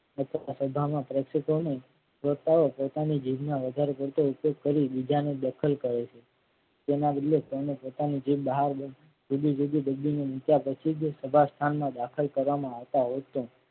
શ્રદ્ધામાં પ્રશિદ્ધઓ ને શ્રોતાઓ પોતાની જીભના વધારે પડતો ઉપયોગ કરી બીજા ને દખલ કરે છે. તેના બદલે તેની પોતાની જીભ બહાર પછી જ સભા સ્થાનમાં દાખલ કરવામાં આવતા હોય છે.